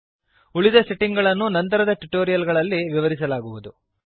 ಉಳಿದ ಸೆಟ್ಟಿಂಗ್ ಗಳನ್ನು ನಂತರದ ಟ್ಯುಟೋರಿಯಲ್ ಗಳಲ್ಲಿ ವಿವರಿಸಲಾಗುವುದು